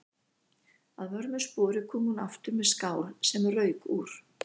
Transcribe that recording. Að vörmu spori kom hún aftur með skál sem rauk úr.